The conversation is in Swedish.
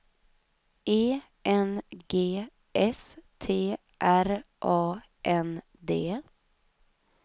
E N G S T R A N D